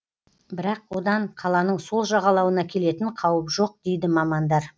бірақ одан қаланың сол жағалауына келетін қауіп жоқ дейді мамандар